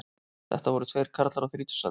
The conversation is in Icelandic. Þetta voru tveir karlar á þrítugsaldri